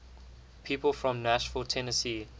people from nashville tennessee